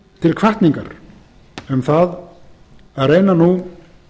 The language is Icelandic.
til hvatningar um það að reyna nú